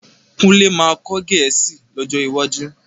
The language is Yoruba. Kúnlé máa kọ́ Gẹ̀ẹ́sì lọ́jọ́ iwájú